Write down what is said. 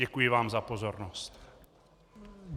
Děkuji vám za pozornost.